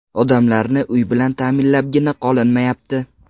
Odamlarni uy bilan ta’minlabgina qolinmayapti.